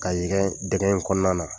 Ka dɛgɛn in kɔnɔna na.